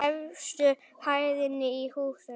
Efstu hæðinni í húsinu.